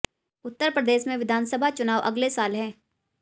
उत्तर प्रदेश में विधानसभा चुनाव अगले साल हैं